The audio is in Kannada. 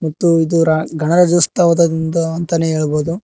ಮತ್ತು ಇದುರ ಗಣರಾಜ್ಯೋತ್ಸವದ ಅಂತನೇ ಹೇಳ್ಬೋದು.